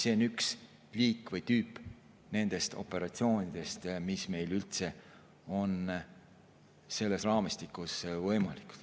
See on üks liik või tüüp nendest operatsioonidest, mis meil on üldse selles raamistikus võimalikud.